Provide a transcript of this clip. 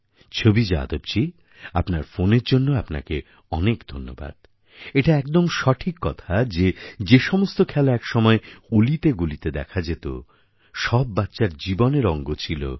ছবি যাদবজী আপনার ফোনের জন্য আপনাকে অনেক ধন্যবাদ এটা একদম সঠিক কথা যে যেসমস্ত খেলা একসময় অলিগলিতে দেখা যেত সব বাচ্চার জীবনের অঙ্গ ছিল